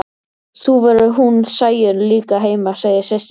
Þá verður hún Sæunn líka heima, segja systurnar.